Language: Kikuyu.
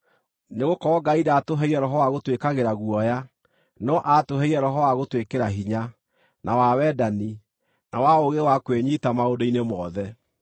Nĩgũkorwo Ngai ndaatũheire roho wa gũtwĩkagĩra guoya, no aatũheire roho wa gũtwĩkĩra hinya, na wa wendani, na wa ũũgĩ wa kwĩnyiita maũndũ-inĩ mothe.